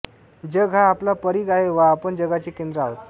जग हा आपला परिघ आहे व आपण जगाचे केंद्र आहोत